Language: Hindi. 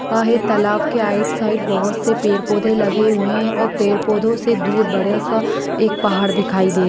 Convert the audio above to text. आहे तालाब के आइट साइड बोहोत से पेड़-पौधे लगे हुए है और पेड़-पौधो से दूर बड़या सा एक पहाड़ दिखाई दे--